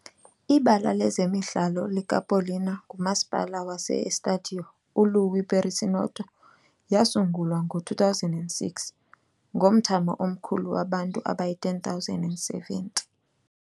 Ibala lezemidlalo likaPaulínia ngumasipala wase-Estádio uLuís Perissinoto, yasungulwa ngo-2006, ngomthamo omkhulu wabantu abayi-10,070.